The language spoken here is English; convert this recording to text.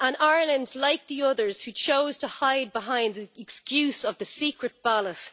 Ireland is like the others who chose to hide behind the excuse of the secret ballots.